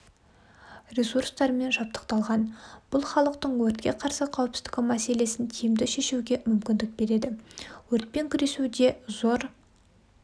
ресурстармен жабдықталған бұл халықтың өртке қарсы қауіпсіздігі мәселесін тиімді шешуге мүмкіндік береді өртпен күресуде зор